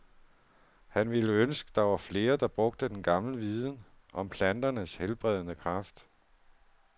Han ville ønske, der var flere, der brugte den gamle viden om planternes helbredende kraft.